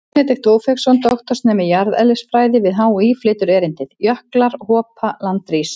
Benedikt Ófeigsson, doktorsnemi í jarðeðlisfræði við HÍ, flytur erindið: Jöklar hopa, land rís.